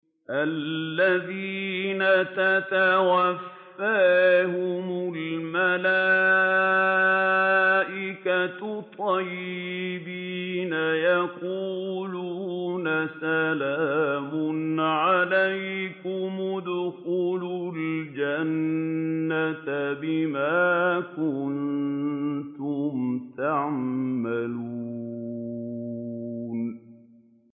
الَّذِينَ تَتَوَفَّاهُمُ الْمَلَائِكَةُ طَيِّبِينَ ۙ يَقُولُونَ سَلَامٌ عَلَيْكُمُ ادْخُلُوا الْجَنَّةَ بِمَا كُنتُمْ تَعْمَلُونَ